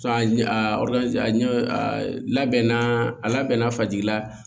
labɛnna a labɛnna fasigila